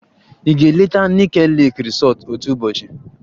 Ị ga-eleta Nike lake resort otu ụbọchị?